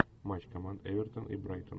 матч команд эвертон и брайтон